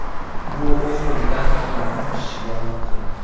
Bu o‘z-o‘zidan narxlarni oshishiga olib keldi.